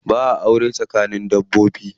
Ba'a aure tsakanin dabbobi.